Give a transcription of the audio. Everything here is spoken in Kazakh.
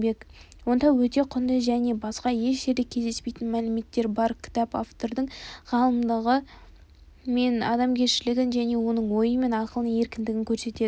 онда өте құнды және басқа еш жерде кездеспейтін мәліметтер бар кітап автордың ғалымдығы мен адамгершілігін және оның ойы мен ақылының еркіндігін көрсетеді